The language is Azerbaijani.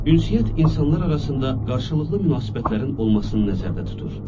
Ünsiyyət insanlar arasında qarşılıqlı münasibətlərin olmasını nəzərdə tutur.